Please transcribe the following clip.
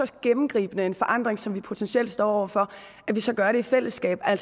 så gennemgribende forandring som vi potentielt står over for så gør det i fællesskab at